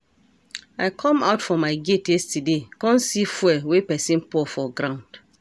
I come out for my gate yesterday come see fuel wey person pour for ground